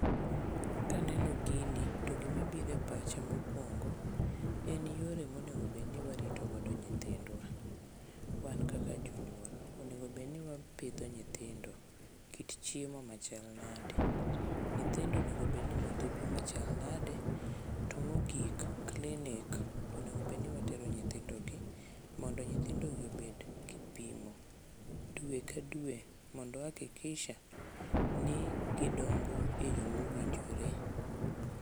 Kaneno gini to gimabiro e pacha mokwongo en yore monegobedni waritogodo nyithindwa wan kaka jonyuol onego bedni wapidho nyithindo kit chiemo machal nadi, nyithindo onego bedni modho pi machal nadi to mogik klinik onego bedni watero nyithindogi mondo nyithindogi obed kipimo dwe ka dwe mondo wahakikisha ni gidongo e yo mowinjore.